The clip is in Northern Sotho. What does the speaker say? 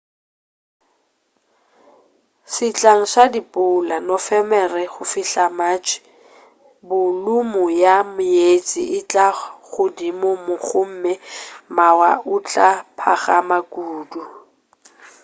sehlang sa dipula nofemere go fihla go matšhe bolumu ya meetse e tla ba godimo gomme mawa a tla phagama kudu